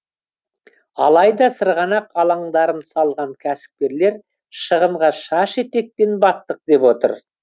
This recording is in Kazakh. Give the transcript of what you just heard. алайда сырғанақ алаңдарын салған кәсіпкерлер шығынға шаш етектен баттық деп отыр